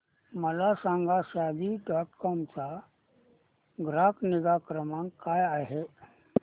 मला सांगा Shaadi dot com चा ग्राहक निगा क्रमांक काय आहे